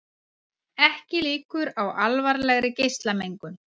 Ekki líkur á alvarlegri geislamengun